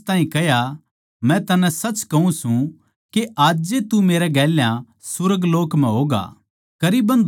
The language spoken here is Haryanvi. उसनै उस ताहीं कह्या मै तन्नै सच कहूँ सूं के आजे तू मेरै गेल्या सुर्गलोक म्ह होगा